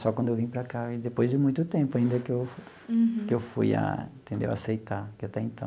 Só quando eu vim para cá e depois de muito tempo, ainda que eu que eu fui a entendeu aceitar, que até então...